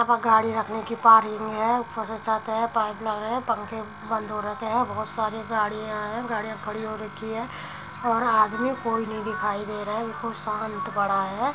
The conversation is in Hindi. यहाँ गाड़ी रखने की पार्किंग है। ऊपर से छत है। पाइप लगा है। पंखे बंद हो रखे है। बोहोत सारे गाड़िया है। गाड़िया खड़ी हो रखी हैं और आदमी कोई नहीं दिखाई दे रहा है बिल्कुल शांत पड़ा है।